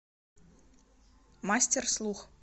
мастерслух